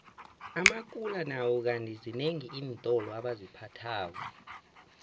amakula nawo kandi zinengi iintolo aziphathako